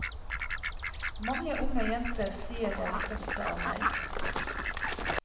Mange unge jenter sier de er stolte av meg.